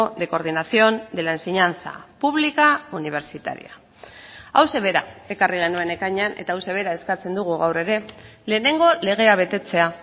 de coordinación de la enseñanza pública universitaria hauxe bera ekarri genuen ekainean eta hauxe bera eskatzen dugu gaur ere lehenengo legea betetzea